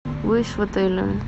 выезд в отеле